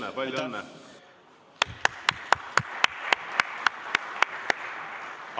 Jaa, palju õnne!